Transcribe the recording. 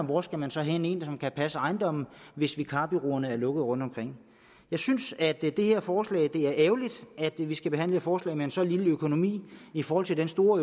hvor skal man så hente en som kan passe ejendommen hvis vikarbureauerne er lukket rundtomkring jeg synes at det her forslag er ærgerligt at vi skal behandle et forslag med så lille en økonomi i forhold til det store